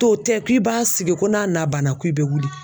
To tɛ k'i b'a sigi ko n'a na banna ko i bɛ wuli